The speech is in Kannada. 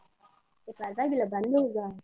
ಪರ್ವಾಗಿಲ್ವಾ ಬಂದು ಹೋಗ.